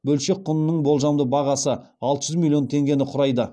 бөлшек құнының болжамды бағасы алты жүз миллион теңгені құрайды